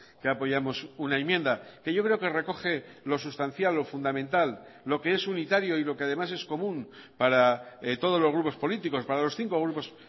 que apoyamos una enmienda que yo creo que recoge lo sustancial lo fundamental lo que es unitario y lo que además es común para todos los grupos políticos para los cinco grupos